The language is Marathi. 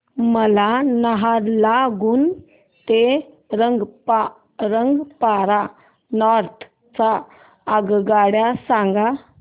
मला नाहरलागुन ते रंगपारा नॉर्थ च्या आगगाड्या सांगा